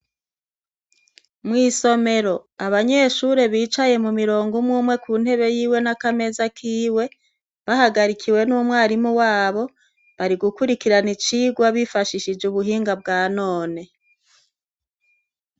Mw'isomero abanyeshure bicaye mu mirongo umweumwe ku ntebe yiwe n'akameza kiwe bahagarikiwe n'umwarimu wabo barigukurikirana icirwa bifashishije ubuhinga bwa none.